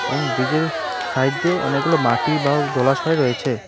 এবং ব্রিজের সাইডে অনেকগুলি মাটি বা জলাশয় রয়েছে--